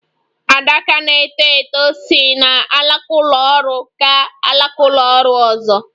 Adaka na - eto eto si n'alaka ụlọ ọrụ gaa n'alaka ụlọ ọrụ.